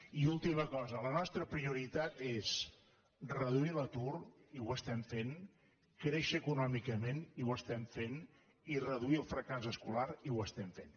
i última cosa la nostra prioritat és reduir l’atur i ho estem fent créixer econòmicament i ho estem fent i reduir el fracàs escolar i ho estem fent